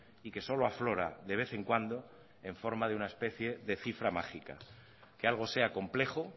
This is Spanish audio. y que solo aflora de vez en cuando en forma de una especie de cifra mágica que algo sea complejo